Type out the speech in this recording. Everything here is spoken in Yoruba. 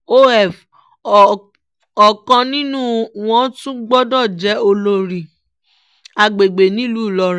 of o ọ̀kan nínú wọn tún gbọ́dọ̀ jẹ́ olórí àgbègbè nílùú ìlọrin